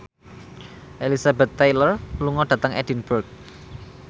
Elizabeth Taylor lunga dhateng Edinburgh